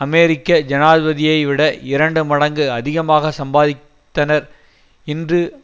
அமெரிக்க ஜனாதிபதியைவிட இரண்டு மடங்கு அதிகமாக சம்பாதித்தனர் இன்று